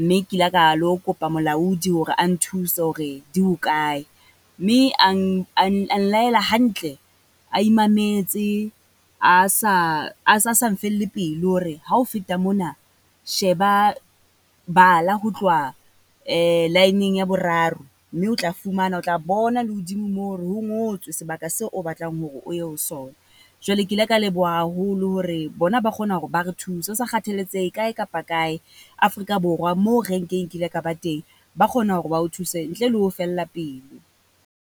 Mme kila ka lo kopa molaodi hore a nthuse hore di ho ae? Mme ang laela hantle a imametse a sa, a sa sa mfelle pelo hore ha o feta mona, sheba bala ho tloha line-ng ya boraro. Mme otla fumana, o tla bona le hodimo moo hore ho ngotswe sebaka seo o batlang hore o ye ho sona. Jwale ke ile ka leboha haholo hore bona ba kgona hore ba re thuse. Ho sa kgathaletsehe kae kapa kae Afrika Borwa moo renke kile ka ba teng, ba kgona hore ba o thuse ntle le ho o fella pelo.